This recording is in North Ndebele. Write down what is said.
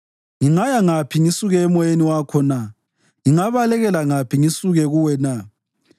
Ngingaya ngaphi ngisuke eMoyeni wakho na? Ngingabalekela ngaphi ngisuke kuwe na?